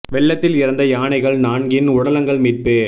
வெள்ளத்தில் இறந்த யானைகள் நான்கின் உடலங்கள் மீட்பு